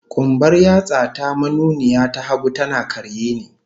Kumbar yatsa ta manuniya ta hagu, tana karye ne